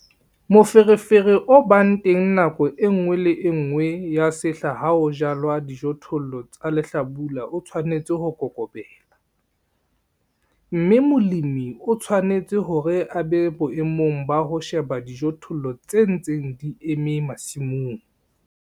Moferefere o bang teng nakong e nngwe le e nngwe ya sehla ha ho jalwa dijothollo tsa lehlabula o tshwanetse ho kokobela, mme molemi o tshwanetse hore a be boemong ba ho sheba dijothollo tse ntseng di eme masimong.